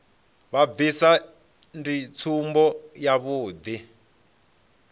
vha bvisa ndi tsumbo yavhuḓi